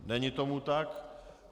Není tomu tak.